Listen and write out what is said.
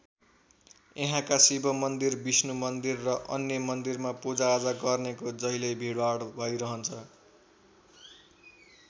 यहाँका शिव मन्दिर विष्णु मन्दिर र अन्य मन्दिरमा पूजाआजा गर्नेको जहिल्यै भिडभाड भइरहन्छ।